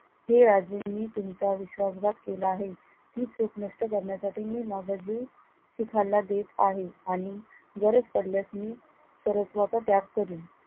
हे राजे मी तुमचा विश्वासघात केला आहे, ती चूक नष्ट करण्यासाठी मी मोबदली शिखांना देत आहे आणि गरज पडल्यास मी सर्वस्वाचा त्याग करील.